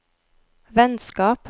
vennskap